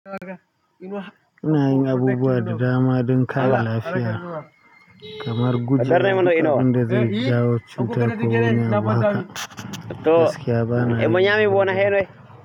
Ina yin abubuwa da dama don kare lafiya. Kamar guje wa duk abin da zai jawo cutar ko wani abu haka. Gaskiya ba na yi ba.